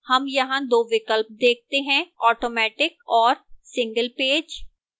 हम यहां दो विकल्प देखते हैं automatic और single page